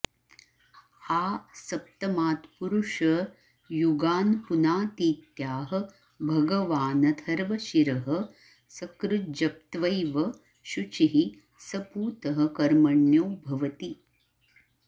आ सप्तमात्पुरुषयुगान्पुनातीत्याह भगवानथर्वशिरः सकृज्जप्त्वैव शुचिः स पूतः कर्मण्यो भवति